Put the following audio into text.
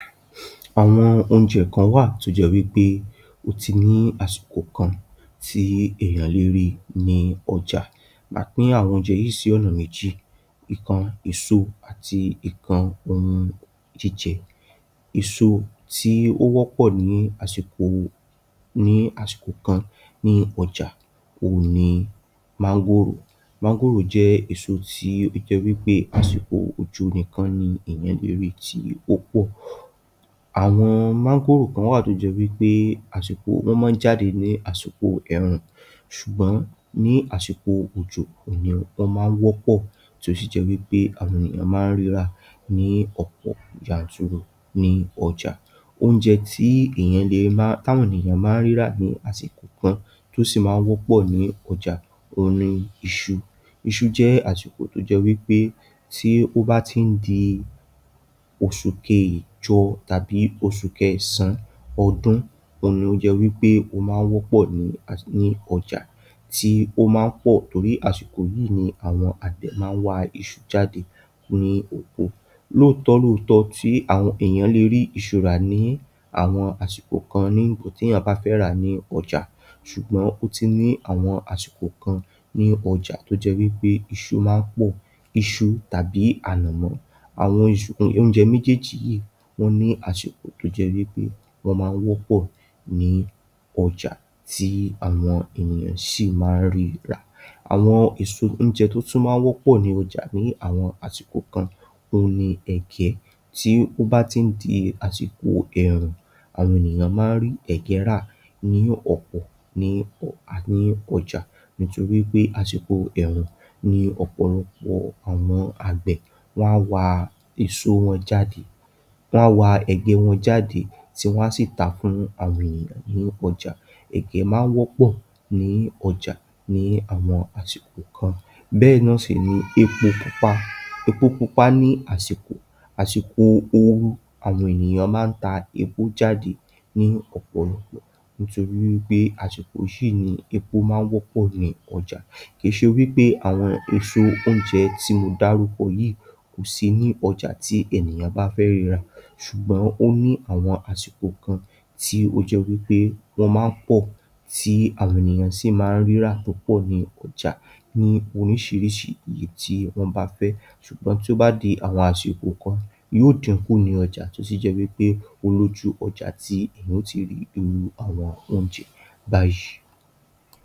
Àwọn oúnjẹ kan wà tó jẹ́ wípé ó ti ní àsìkò kan tí èèyàn lè rí ní ọjà, màá pín àwọn oúnjẹ yìí sí ọ̀nà méjì. Íkan èso àti íkan ohun jíjẹ. Èso tí ó wọ́pọ̀ ní àsìkò, ní àsìkò kan ní ọjà ò ní mangoro. Mangoro jẹ̀ èso tí ó jẹ́ wípé àsìkò ojú nìkan ní èèyàn lè rí tí ó pọ̀. Àwọn mangoro kan wà tó jẹ́ wípé àsìkò wọn máa ń jáde ní àsìkò ẹ̀rùn ṣùgbọ́n ní àsìkò òjò òní wọ́n máa ń wọ́pọ̀ torí sì jẹ́ wípé àwọn ènìyàn máa ń rírà ní ọ̀pọ̀ yaǹtúnrù ní ọjà. Oúnjẹ tí èèyàn lérá táwọn ènìyàn máa ń rírà ní àsìkò kan tó sì máa ń wọ́pọ̀ ní ọjà ó ní ìṣú. Ìṣú jẹ̀ àṣìkò tó jẹ́ wípé tí ó bá tín di oṣùkẹ́jọ tàbí oṣùkẹ́ ẹ̀sàn ọdún. Òní ó jẹ́ wípé ó máa wọ́pọ̀ ní, ní ọjà. Tí ó máa ń pọ̀ torí àsìkò yìí ni àwọn agbẹ̀ máa wá ìṣú jáde ní òkó. Lóòótọ́lọ́ọ̀tọọ́ tí àwọn èèyàn lè rí ìṣú rà ní àwọn àsìkò kan ní ǹgbò tí ẹ̀yìn bá fẹ́ rà ní ọjà ṣùgbọ́n ó ti ní àwọn àsìkò kan ní ọjà tó jẹ́ wípé ìṣú máa ń pọ̀. Ìṣú tàbí ànàmọ̀. Àwọn ìṣú oúnjẹ méjèèjì yìí wọ́n ní àsìkò tó jẹ́ wípé wọ́n máa ń wọ́pọ̀ ní ọjà tí àwọn ènìyàn sì máa ń rírà. Àwọn èso oúnjẹ tó tún máa wọ́pọ̀ ní ọjà ní àwọn àsìkò kan ní ẹ̀gẹ̀ tí ó bá ti ń di àsìkò ẹ̀rùn àwọn ènìyàn máa ń rí ẹ̀gẹ́ rà ní ọ̀pọ̀ ní ọ̀, a, ní ọjà. Nítorí pé àsìkò ẹ̀rùn ni ọ̀pọ̀ ọlọ́pọ̀ àwọn agbẹ̀ wọ́n á wá èso wọn jáde. Wọ́n á wá ẹ̀gẹ́ wọn jáde tí wọ́n sì tà fún àwọn ènìyàn ní ọjà. Ẹ̀gẹ́ máa wọ́pọ̀ ní ọjà ní àwọn àsìkò kan. Bẹ́ẹ̀ náà sì ni épò pupa. Ẹpò pupa ní àsìkò, àsìkò ooru. Àwọn ènìyàn máa ń tà épò jáde ní ọ̀pọ̀ ọlọ́pọ̀ nítorí pé àsìkò yìí ni épò máa ń wọ́pọ̀ ní ọjà. Kí ṣe wípé àwọn èso oúnjẹ tí mo darúpọ̀ yìí kò sí ní ọjà tí ènìyàn bá fẹ́ rírà ṣùgbọ́n ó ní àwọn àsìkò kan tí ó jẹ́ wípé wọ́n máa ń pọ̀ tí àwọn ènìyàn sì máa ń rírà. Nípò ní ọjà. Ní orísirísí iye tí wọ́n bá fẹ́. Ṣùgbọ́n tó bá di àwọn àsìkò kan, yóò dínkù ní ọjà tó sì jẹ́ wípé olójú ọjà tí ẹ̀yìn ó ti rí irú àwọn oúnjẹ bàá yìí.